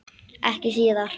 Ekki síðar.